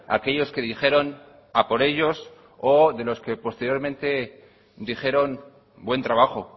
aquellos que dijeron a por ellos o de los que posteriormente dijeron buen trabajo